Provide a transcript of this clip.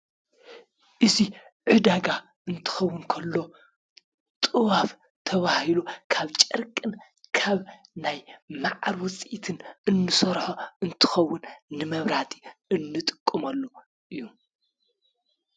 እዚ ዕዳጋ እንተከዉን ከሎ ጥዋፍ ተባሂሉ ካብ ጨርቅን ካብ ናይ ማዓር ዉፂኢትን እንስርሖ እንትከዉን ንመብራህት እንጥቀመሉ እዩ ።